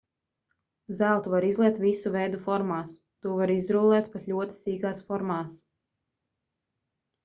zeltu var izliet visu veidu formās to var izrullēt pat ļoti sīkās formās